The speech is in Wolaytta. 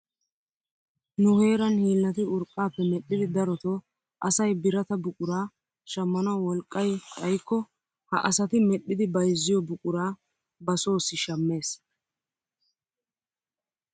Nu heeran hiillati urqqaappe medhdhidi darotoo asay birata buquraa shammanawu wolqqay xayikko ha asati medhdhidi bayzziyoo buquraa ba soosi shammees.